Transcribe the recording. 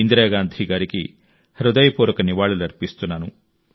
ఇందిరాగాంధీ గారికి హృదయపూర్వక నివాళులర్పిస్తున్నాను